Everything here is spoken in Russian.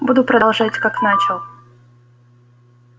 буду продолжать как начал